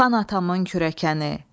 Xan atamın kürəkəni.